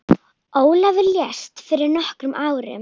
Ólafur lést fyrir nokkrum árum.